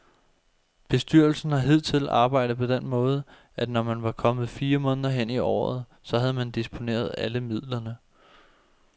Bestyrelsen har hidtil arbejdet på den måde, at når man var kommet fire måneder hen i året, så havde man disponeret alle midlerne.